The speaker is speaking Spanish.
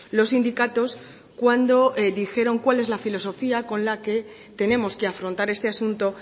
los sindicatos cuando dijeron cuál es la filosofía con la que tenemos que afrontar este asunto